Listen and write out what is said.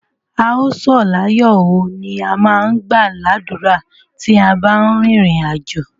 A ó sọ̀ láyó oo, ni a má ń gbà ládùrá tí a bá ń rin ìrìn àjò.